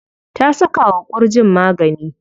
Ta saka wa ƙurjin magani.